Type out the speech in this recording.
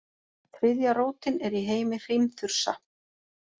Þriðja rótin er í heimi hrímþursa.